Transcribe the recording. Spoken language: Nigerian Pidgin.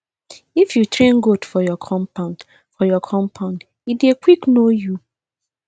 if you train goat for your compound for your compound e dey quick know you